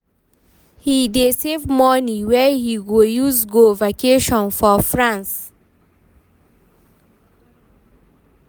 he dey save money wey he go use go vacation for France